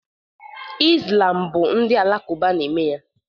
Islam bụ ndị Alakụba na-eme ya